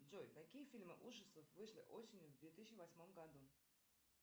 джой какие фильмы ужасов вышли осенью в две тысячи восьмом году